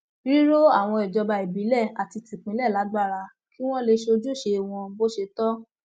ríro àwọn ìjọba ìbílẹ àti tìpínlẹ lágbára kí wọn lè ṣojúṣe wọn bó ṣe tọ